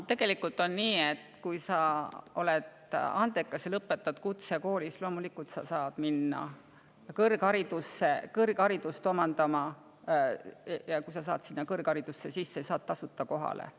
Tegelikult on nii, et kui sa oled andekas ja lõpetad kutsekooli, siis sa loomulikult saad minna kõrgharidust omandama, ja kui sa saad kõrg sisse, saad tasuta kohale.